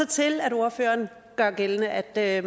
til at ordføreren gør gældende at